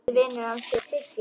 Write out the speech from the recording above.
Besti vinur hans hét Siggi.